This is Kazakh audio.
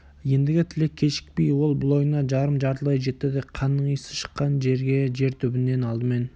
ендігі тілек кешікпей ол бұл ойына жарым-жартылай жетті де қанның иісі шыққан жерге жер түбінен алдымен